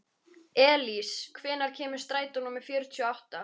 Elís, hvenær kemur strætó númer fjörutíu og átta?